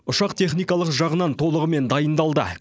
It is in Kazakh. ұшақ техникалық жағынан толығымен дайындалды